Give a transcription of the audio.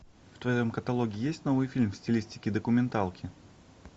в твоем каталоге есть новый фильм в стилистике документалки